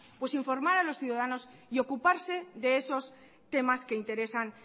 pues informar a los ciudadanos y ocuparse de esos temas que interesan